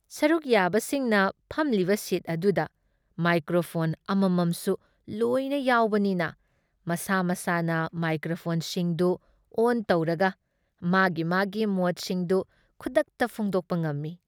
ꯁꯔꯨꯛ ꯌꯥꯕꯁꯤꯡꯅ ꯐꯝꯂꯤꯕ ꯁꯤꯠ ꯑꯗꯨꯗ ꯃꯥꯏꯀ꯭ꯔꯣꯐꯣꯟ ꯑꯃꯝꯃꯝꯁꯨ ꯂꯣꯏꯅ ꯌꯥꯎꯕꯅꯤꯅ ꯃꯁꯥ ꯃꯁꯥꯅ ꯃꯥꯏꯀ꯭ꯔꯣꯐꯣꯟꯁꯤꯡꯗꯨ ꯑꯣꯟ ꯇꯧꯔꯒ ꯃꯥꯒꯤ ꯃꯥꯒꯤ ꯃꯣꯠꯁꯤꯡꯗꯨ ꯈꯨꯗꯛꯇ ꯐꯣꯡꯗꯣꯛꯄ ꯉꯝꯃꯤ ꯫